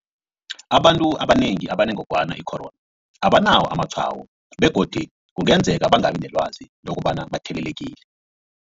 Abantu abanengi abanengogwana i-corona abanawo amatshwayo begodu kungenzeka bangabi nelwazi lokobana bathelelekile.